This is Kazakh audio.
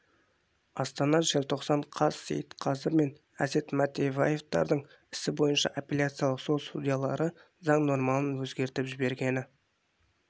астана желтоқсан қаз сейтқазы мен әсет матаевтардың ісі бойынша апелляциялық сот судьялары заң нормаларын өзгертіп жібергені